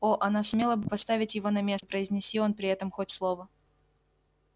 о она сумела бы поставить его на место произнеси он при этом хоть слово